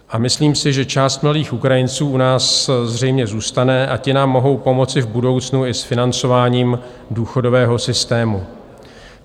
A myslím si, že část mladých Ukrajinců u nás zřejmě zůstane, a ti nám mohou pomoci v budoucnu i s financováním důchodového systému.